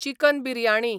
chicken biryani